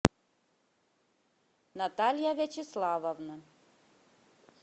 наталья вячеславовна